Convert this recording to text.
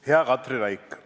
Hea Katri Raik!